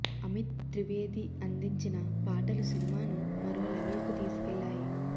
అమిత్ త్రివేది అందించిన పాటలు సినిమాను మరో లెవల్కు తీసుకెళ్లాయి